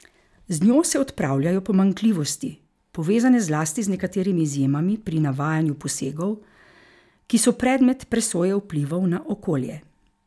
Z njo se odpravljajo pomanjkljivosti, povezane zlasti z nekaterimi izjemami pri navajanju posegov, ki so predmet presoje vplivov na okolje.